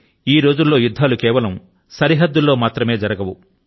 ఈ రోజులలో యుద్ధాలు కేవలం సరిహద్దులలో మాత్రమే జరగవు